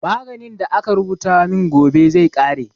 Maganin da aka rubuta min gobe zai ƙare